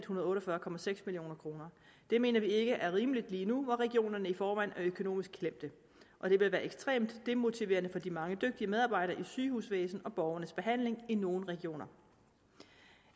hundrede og otte og fyrre million kroner det mener vi ikke er rimeligt lige nu hvor regionerne i forvejen er økonomisk klemt og det vil være ekstremt demotiverende for de mange dygtige medarbejdere i sygehusvæsenet med borgernes behandling i nogle regioner